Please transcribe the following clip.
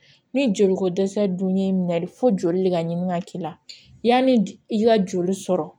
Ni joli ko dɛsɛ dun y'i minɛ fo joli de ka ɲini ka k'i la yanni i ka joli sɔrɔ